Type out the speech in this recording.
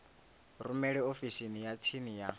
rumele ofisini ya tsini ya